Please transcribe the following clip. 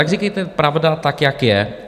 Tak říkejte pravdu tak, jak je.